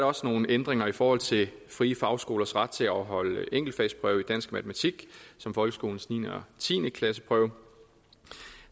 også nogle ændringer i forhold til frie fagskolers ret til at holde enkeltfagsprøve i dansk og matematik som folkeskolens niende og tiende klasseprøve